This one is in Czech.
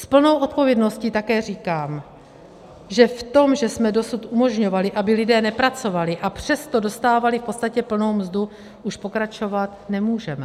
S plnou odpovědností také říkám, že v tom, že jsme dosud umožňovali, aby lidé nepracovali, a přesto dostávali v podstatě plnou mzdu, už pokračovat nemůžeme.